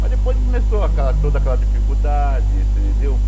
Mas depois começou aquela toda aquela dificuldade. Você entendeu